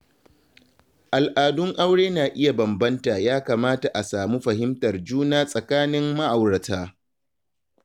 Al'adun aure na iya bambanta ya kamata a samu fahimtar juna tsakanin ma’aurata.